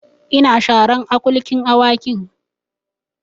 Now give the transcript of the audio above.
Ina sharan akulkin Awakin